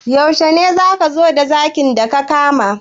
Yaushe ne za ka zo da zakin da ka kama?